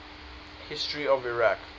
history of iraq